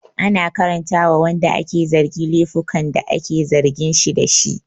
An karanta wa wanda ake zargi laifukan da ake zargin shi dashi